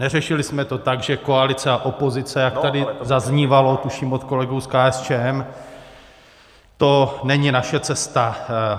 Neřešili jsme to tak, že koalice a opozice, jak tady zaznívalo, tuším, od kolegů z KSČM, to není naše cesta.